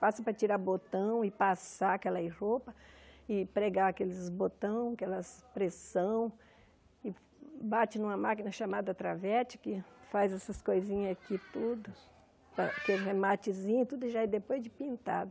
Passam para tirar botão e passar aquelas roupas e pregar aqueles botões, aquelas pressão e bate numa máquina chamada travete que faz essas coisinhas aqui tudo, aquele rematezinho tudo já é depois de pintado.